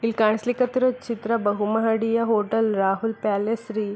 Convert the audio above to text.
ಇಲ್ ಕಾನ್ಸ್ಲೀಕ್ ಹತ್ತಿರೋ ಚಿತ್ರ ಬಹು ಮಹಡಿಯ ಹೋಟೆಲ್ ರಾಹುಲ್ ಪ್ಯಾಲೇಸ್ ರೀ --